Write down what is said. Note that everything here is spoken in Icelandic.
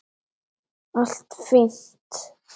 Allt fínt!